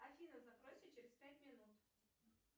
афина закройся через пять минут